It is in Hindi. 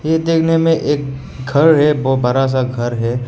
ये देखने में एक घर है बहुत बड़ा सा घर है।